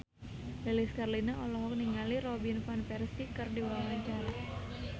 Lilis Karlina olohok ningali Robin Van Persie keur diwawancara